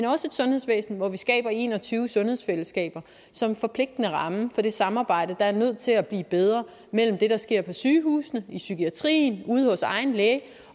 også et sundhedsvæsen hvor vi skaber en og tyve sundhedsfællesskaber som en forpligtende ramme for det samarbejde der er nødt til at blive bedre mellem det der sker på sygehusene i psykiatrien ude hos egen læge